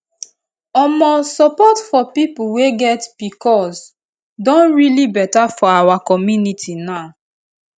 omosupport for people wey get pcos don really better for our community now